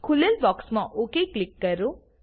ખૂલેલ બોક્સમાં okay click કરો